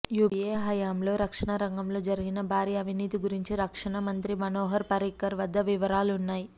UPA హయంలో రక్షణ రంగంలో జరిగిన భారీ అవినీతి గురించి రక్షణ మంత్రి మనోహర్ పారిక్కర్ వద్ద వివరాలున్నాయి